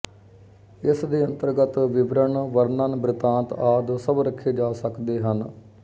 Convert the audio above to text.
ਇਸ ਦੇ ਅੰਤਰਗਤ ਵਿਵਰਣ ਵਰਣਨ ਬ੍ਰਿਤਾਂਤ ਆਦਿ ਸਭ ਰੱਖੇ ਜਾ ਸਕਦੇ ਹਨ